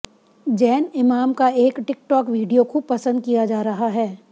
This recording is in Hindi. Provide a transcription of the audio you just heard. जैन इमाम का एक टिक टॉक वीडियो खूब पसंद किया जा रहा है